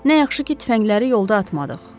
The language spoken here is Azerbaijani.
Nə yaxşı ki, tüfəngləri yolda atmadıq.